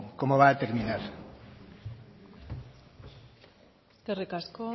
como va a terminar eskerrik asko